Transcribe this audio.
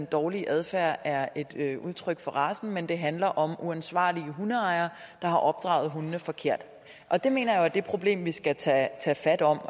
dårlige adfærd er et udtryk for racen men at det handler om uansvarlige hundeejere der har opdraget hundene forkert og det mener jeg jo er det problem vi skal tage fat om